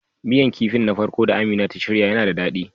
Miyan kipin na farko da Amina ta shirya yana da dadi.